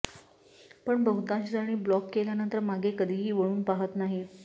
पण बहुतांश जणी ब्लॉक केल्यानंतर मागे कधीही वळून पाहत नाहीत